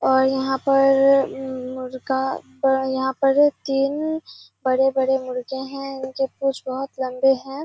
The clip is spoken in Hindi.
और यहाँ पर मुर्गा ब यहाँ पर तीन बड़े-बड़े मुर्गे हैं। इनके पूछ बहुत लम्बे हैं।